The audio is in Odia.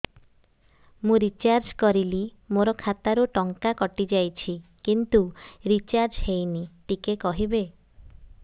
ମୁ ରିଚାର୍ଜ କରିଲି ମୋର ଖାତା ରୁ ଟଙ୍କା କଟି ଯାଇଛି କିନ୍ତୁ ରିଚାର୍ଜ ହେଇନି ଟିକେ କହିବେ